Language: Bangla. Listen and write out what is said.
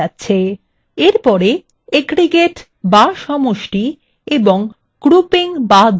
এরপরে aggregates বা সমষ্টি এবং grouping বা দলবদ্ধকরণ নিয়ে আলোচনা করা যাক